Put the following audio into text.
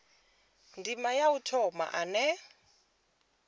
ndima ya u thoma ane